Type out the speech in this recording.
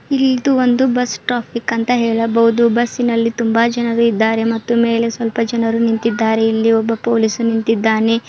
ಇಲ್ ಇದು ಒಂದು ಬಸ್ ಟಾಪಿಕ್ ಅಂತ ಹೇಳಬಹುದು ಬಸ್ಸಿನಲ್ಲಿ ತುಂಬಾ ಜನರು ಇದ್ದಾರೆ ಮತ್ತು ಮೇಲೆ ಸಲ್ಪ ಜನರು ನಿಂತಿದ್ದಾರೆ ಇಲ್ಲಿ ಒಬ್ಬ ಪೊಲೀಸು ನಿಂತಿದ್ದಾನೆ.